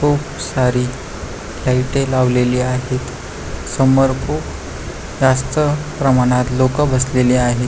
खूप सारी लाइटे लावलेली आहेतसमोर खूप जास्त प्रमाणात लोक बसलेली आहेत.